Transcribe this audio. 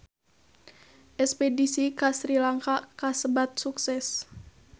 Espedisi ka Sri Lanka kasebat sukses